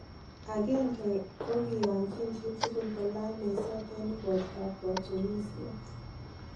Agenge ko kiyanjin chitukul kolany meset en ikortab katunisiet